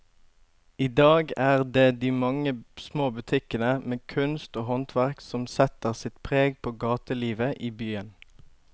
I dag er det de mange små butikkene med kunst og håndverk som setter sitt preg på gatelivet i byen.